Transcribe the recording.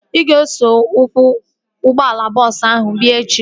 Ị ga-eso ọkwọ ụgbọala bọọsu ahu wee bịa echi?